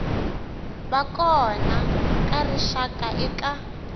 va kona ka rixaka eka